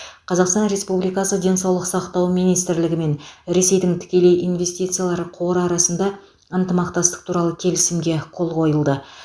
қазақстан республикасы денсаулық сақтау министрлігі мен ресейдің тікелей инвестициялар қоры арасында ынтымақтастық туралы келісімге қол қойылды